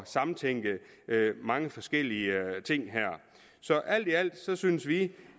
samtænke mange forskellige ting her så alt i alt synes synes vi